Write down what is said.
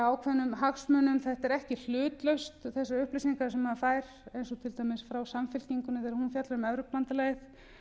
ákveðnum hagsmunum þetta er ekki hlutlaust þessar upplýsingar sem maður fær eins og til dæmis frá samfylkingunni þegar hún fjallar um evrópubandalagið